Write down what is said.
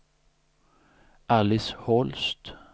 Alice Holst